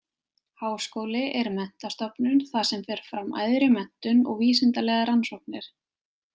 Háskóli er menntastofnun þar sem fer fram æðri menntun og vísindalegar rannsóknir.